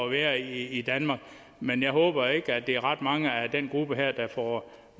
at være i danmark men jeg håber ikke at det er ret mange af den gruppe her der får